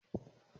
Máa gbá é lójú